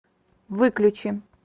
выключи